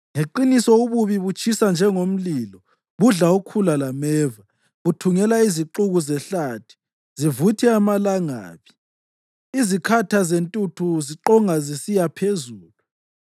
Ngeqiniso ububi butshisa njengomlilo, budla ukhula lameva, buthungela izixuku zehlathi zivuthe amalangabi izikhatha zentuthu ziqonga zisiya phezulu.